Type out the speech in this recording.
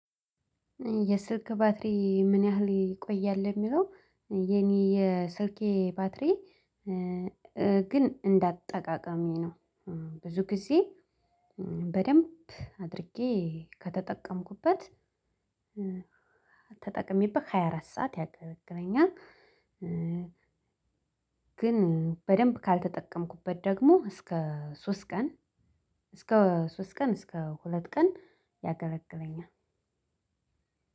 የስልክ ባትሪ ምን ያህል ይቆያል የሚለው? የኔ የስልኬ ባትሪ ግን እንዳጠቃቀሜ ነው ብዙ ጊዜ በደንብ አድርጌ ከተጠቀምኩበት ተጠቅሜበት ሃያ አራት ሰዓት ያገለግለኛል። ግን በደንብ ካልተጠቀምኩበት ደግሞ እስከ ሶስት ቀን እስከ ሶስት ቀን እስከ ሁለት ቀን። ያገለግለኛል።